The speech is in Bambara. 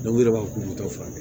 u yɛrɛ b'a fɔ k'u t'u furakɛ